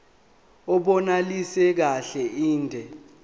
abunelisi kahle inde